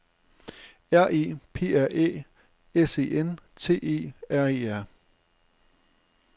R E P R Æ S E N T E R E R